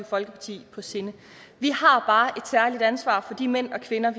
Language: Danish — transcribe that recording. folkeparti på sinde vi har bare særligt ansvar for de mænd og kvinder